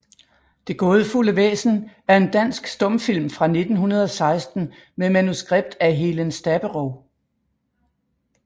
Det gaadefulde Væsen er en dansk stumfilm fra 1916 med manuskript af Helen Staberow